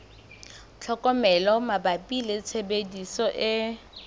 tlhokomelo mabapi le tshebediso e